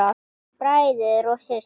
Bræður og systur!